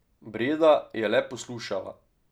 Breda je le poslušala.